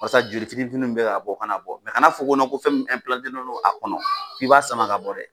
Walasa joli fitini fitini min bɛ ka bɔ o kaan bɔ mɛ kana fɔ ko ko nɔ ko fɛn min ɛnpilantelen don a kɔnɔ k'i b'a sama ka bɔ dɛ